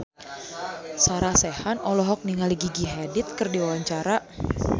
Sarah Sechan olohok ningali Gigi Hadid keur diwawancara